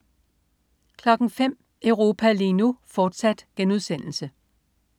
05.00 Europa lige nu, fortsat*